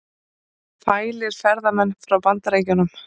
Fælir ferðamenn frá Bandaríkjunum